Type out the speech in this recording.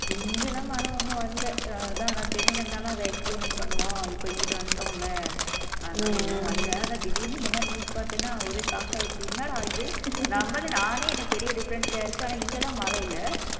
இங்கெல்லாம் மழை ஒண்ணும் வரலை அதான் நான் சென்னையில இருந்தாலும் அதை experiment பண்ணுவோம் இப்ப இங்கிட்டு வந்துட்டோம்ல அதனால எதுவும் வரலை ஆனா திடீர்ன்னு இந்த மாதிரி news பார்த்தேன்னா ஒரே shock ஆயி என்னடா இது நம்மளும் நானே என்ன பெரிய difference ல இருக்கு ஆனா இங்க எல்லாம் மழை இல்ல